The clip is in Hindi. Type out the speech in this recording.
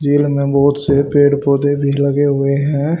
ये बहोत से पेड़ पौधे भी लगे हुए हैं।